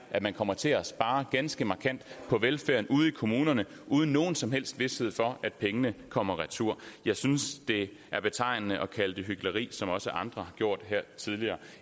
at man kommer til at spare ganske markant på velfærden ude i kommunerne uden nogen som helst vished for at pengene kommer retur jeg synes at det er betegnende at kalde det hykleri som også andre har gjort det her tidligere